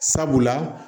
Sabula